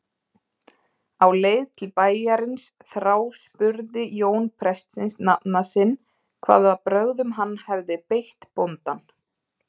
Á leið til bæjarins þráspurði Jón prestsins nafna sinn hvaða brögðum hann hefði beitt bóndann.